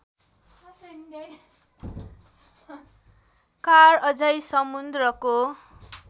car अझै समुन्द्रको